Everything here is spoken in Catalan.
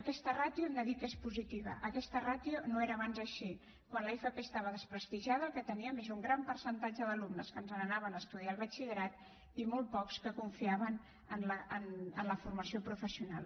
aquesta ràtio hem de dir que és positiva aquesta ràtio no era abans així quan l’fp estava abans desprestigiada el que teníem era un gran percentatge d’alumnes que se n’anaven a estudiar el batxillerat i molt pocs que confiaven en la formació professional